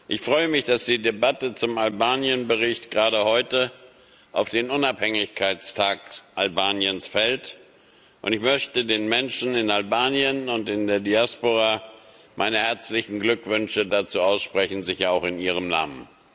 Ich freue mich, dass die Debatte zum Albanien Bericht gerade heute auf den Unabhängigkeitstag Albaniens fällt, und ich möchte den Menschen in Albanien und in der Diaspora meine herzlichen Glückwünsche dazu aussprechen, sicher auch in Ihrem Namen.